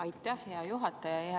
Aitäh, hea juhataja!